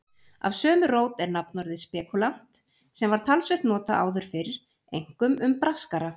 Af sömu rót er nafnorðið spekúlant sem var talsvert notað áður fyrr, einkum um braskara.